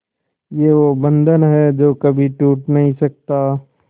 ये वो बंधन है जो कभी टूट नही सकता